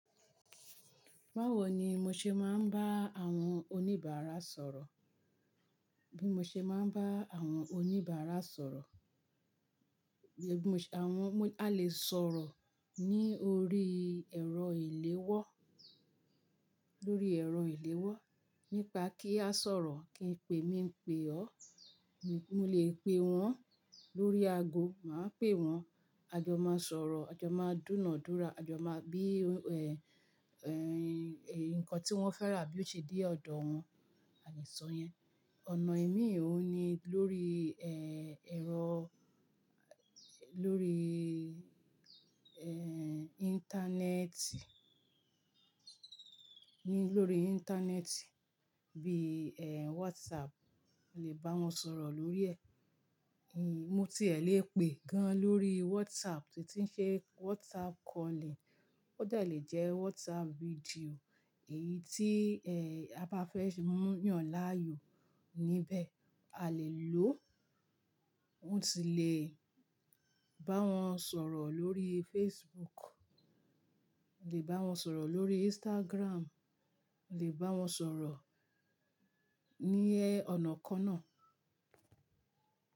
Báwo ni mo ṣe máa ń bá àwọn oníbàárà sọ̀rọ̀? Bí mo ṣe máa ń bá àwọn oníbàárà sọ̀rọ̀, àwọn-- a lè sọ̀rọ̀ ní orí ẹ̀rọ ìléwọ́, lórí ẹ̀rọ ìléwọ́. Nípa kí a sọ̀rọ̀ kí n pe, mi ń pe ọ́. Mo lè pe wọn lórí ago, màá pe wọn. A jọ máa sọ̀rọ̀, a jọ máa dúnàádúrà, a jọ máa bí, nǹkan tí wọ́n fẹ́ rà bí yoó ṣe dé ọ̀dọ̀ wọn, a lè sọ yẹn. Ọ̀nà imí òun ni lórí, ẹ̀rọ, lórí, Íńtánẹ́ẹ̀tì, ní lórí Íńtánẹ́ẹ̀tì bí, WhatsApp. Mo lè bá wọn sọ̀rọ̀ lórí ẹ̀. Mo ti e lè pè é gan lórí WhatsApp tí ń ṣe WhatsApp calling. Ó de lè jẹ WhatsApp video. Èyí tí, ẹ́, a bá fẹ́ ṣe mú yàn láàyò níbẹ̀, a lè lò ó. Mo si lè bá wọn sọ̀rọ̀ lórí Facebook. Le bá wọn sọ̀rọ̀ lórí Instagram. Le bá wọn sọ̀rọ̀ ní ọnàkonáà.